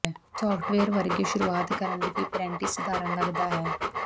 software ਵਰਗੇ ਸ਼ੁਰੂਆਤ ਕਰਨ ਲਈ ਵੀ ਪਰੈਟੀ ਸਧਾਰਨ ਲੱਗਦਾ ਹੈ